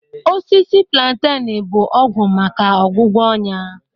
Osisi plantain bụ ọgwụ maka ọgwụgwọ ọnya